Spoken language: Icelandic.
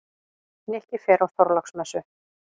Nikki fer á Þorláksmessu.